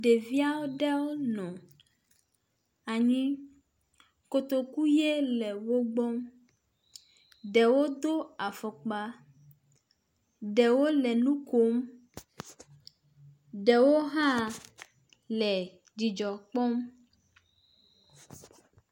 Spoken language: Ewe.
Ɖevi aɖewo nɔ anyi, kotoku ʋe le wo gbɔ. Ɖewo do afɔkpa, ɖewo le nu kom. Ɖewo hã le dzidzɔ kpɔm.